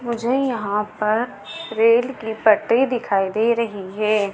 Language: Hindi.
मुझे यहां पर रेल की पटरी दिखाई दे रही हैं।